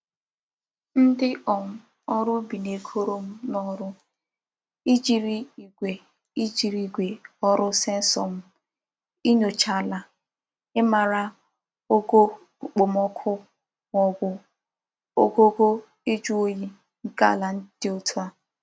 Ndi um órú ubi na-egoro m n'oru ijiri igwe ijiri igwe órú sensor m inyocha ala imara ogo okpomoku ma obu ogugo iju oyi nke ala di otu a.